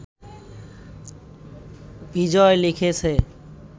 বিজয় লিখেছে